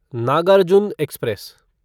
Nagarjuna express